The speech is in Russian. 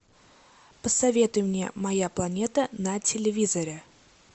посоветуй мне моя планета на телевизоре